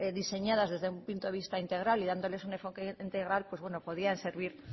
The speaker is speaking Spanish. diseñadas desde un punto de vista integral y dándoles un enfoque integral pues bueno podrían servir